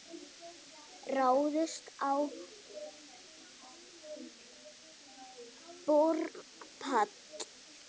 Ráðist á olíuborpall